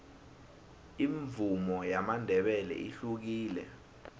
imvumo yamandebele ihlukile